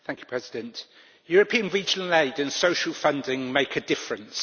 Mr President, European regional aid and social funding make a difference.